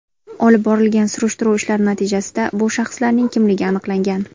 Olib borilgan surishtiruv ishlari natijasida bu shaxslarning kimligi aniqlangan.